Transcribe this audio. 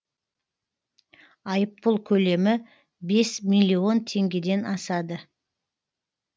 айыппұл көлемі бес миллион теңгеден асады